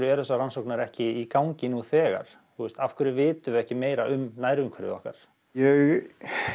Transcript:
þessar rannsóknir eru ekki í gangi nú þegar af hverjum vitum við ekki meira um nærumhverfi okkar ég